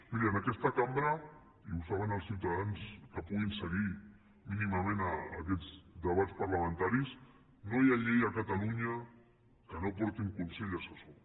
miri en aquesta cambra i ho saben els ciutadans que puguin seguir mínimament aquests debats parlamentaris no hi ha llei a catalunya que no porti un consell assessor